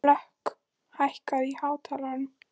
Hlökk, hækkaðu í hátalaranum.